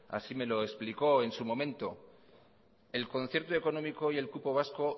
así me lo explicó en su momento el concierto económico y el cupo vasco